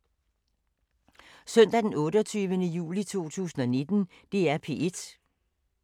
Søndag d. 28. juli 2019